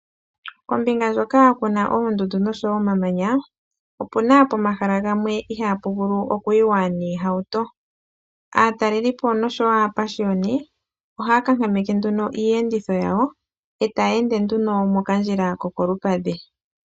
Kombinga ndjoka ku na oondundu noshowo omamanya opu na pomahala gamwe ihaapu vulu okuyiwa noohauto . Aatalelipo noshowo aapashiyoni ohaya kankameke nduno iiyenditho yawo e taya ende nduno mokandjila ko kolupadhi